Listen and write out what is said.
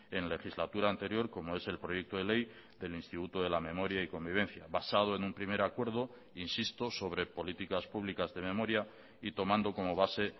en legislatura anterior como es el proyecto de ley del instituto de la memoria y convivencia basado en un primer acuerdo insisto sobre políticas públicas de memoria y tomando como base